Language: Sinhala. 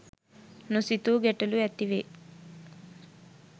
නොසිතූ ගැටලු ඇති වේ.